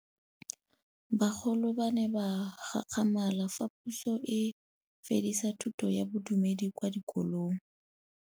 Bagolo ba ne ba gakgamala fa Pusô e fedisa thutô ya Bodumedi kwa dikolong.